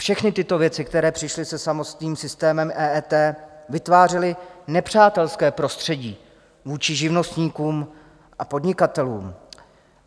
Všechny tyto věci, které přišly se samotným systémem EET, vytvářely nepřátelské prostředí vůči živnostníkům a podnikatelům.